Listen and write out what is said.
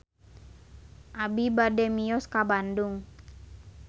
Abi bade mios ka Bandung